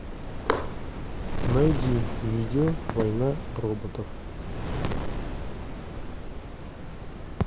найди видео война роботов